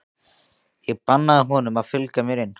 Ég bannaði honum að fylgja mér inn.